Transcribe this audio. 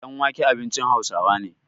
danwake abincin Hausawa ne